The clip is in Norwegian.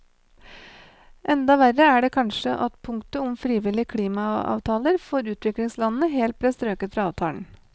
Enda verre er det kanskje at punktet om frivillige klimaavtaler for utviklingslandene helt ble strøket fra avtalen.